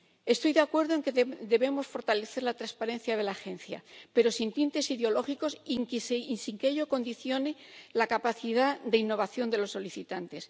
Estoy de acuerdo en que debemos fortalecer la transparencia de la Agencia, pero sin tintes ideológicos y sin que ello condicione la capacidad de innovación de los solicitantes.